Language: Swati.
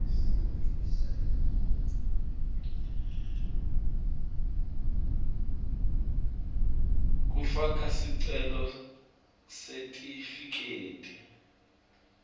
kufaka sicelo sesitifiketi